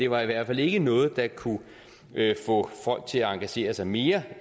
var i hvert fald ikke noget der kunne få folk til at engagere sig mere